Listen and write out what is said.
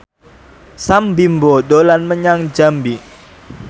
Sam Bimbo dolan menyang Jambi